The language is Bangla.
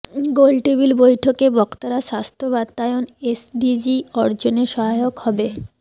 গোলটেবিল বৈঠকে বক্তারা স্বাস্থ্য বাতায়ন এসডিজি অর্জনে সহায়ক হবে